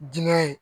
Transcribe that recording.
Diinɛ